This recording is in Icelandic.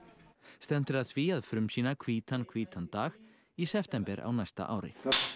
stefnt er að því að frumsýna hvítan hvítan dag í september á næsta ári